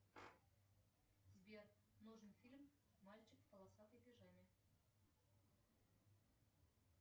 сбер нужен фильм мальчик в полосатой пижаме